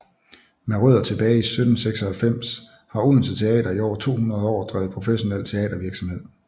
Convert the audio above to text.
Med rødder tilbage til 1796 har Odense Teater i over 200 år drevet professionel teatervirksomhed